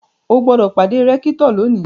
O gbọ́dọ̀ pàdé rẹ́kítọ̀ lónìí!